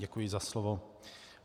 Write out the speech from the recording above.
Děkuji za slovo.